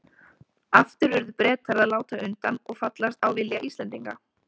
Aftur urðu Bretar að láta undan og fallast á vilja Íslendinga.